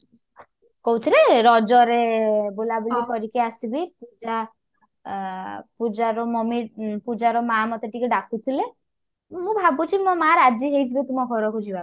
କଉଥିରେ ରଜ ରେ ବୁଲାବୁଲି କରିକି ଆସିବି ପୂଜା ଅ ପୂଜା ପୂଜାର mummy ପୂଜାର ମାଆ ମୋତେ ଟିକେ ଡାକୁଥିଲେ ମୁଁ ଭାବୁଛି ମୋ ମାଆ ରାଜି ହେଇଯିବେ ତୁମ ଘରକୁ ଯିବା